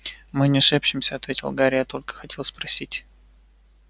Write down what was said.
мы не шепчемся ответил гарри я только хотел спросить